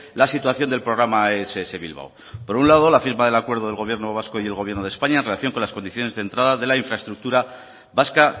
la situación del programa ess bilbao por un lado la firma del acuerdo del gobierno vasco y el gobierno de españa en relación con las condiciones de entrada de la infraestructura vasca